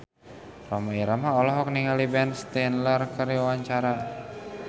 Rhoma Irama olohok ningali Ben Stiller keur diwawancara